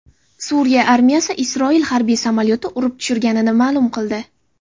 Suriya armiyasi Isroil harbiy samolyoti urib tushirganini ma’lum qildi.